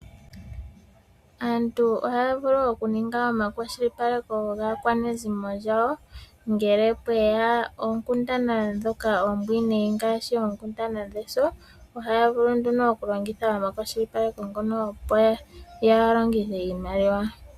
Aantu ohaya vulu oku ninga omakwashilipaleko gaakwanezimo yawo, ngele pweya oonkundana ndhoka oombwinayi, ngaashi oonkundana dheso, ohaya vulu nduno okulongitha omakwashilipaleko ngono opo ya, yalongithe iimaliwa.